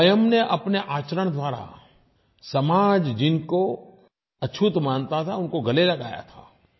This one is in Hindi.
स्वयं ने अपने आचरण द्वारा समाज जिनको अछूत मानता था उनको गले लगाया था